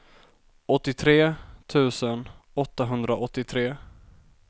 åttiotre tusen åttahundraåttiotre